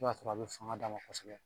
I b'a sɔrɔ a bɛ fanga d'a ma kosɛbɛ